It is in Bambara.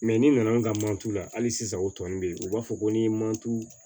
ni nana ka mancu la hali sisan o tɔ nunnu bɛ ye u b'a fɔ ko ni mantu